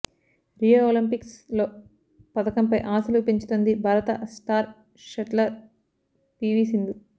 Rio Olympics లో పతకంపై ఆశలు పెంచుతోంది భారత స్టార్ షట్లర్ పీవీ సింధు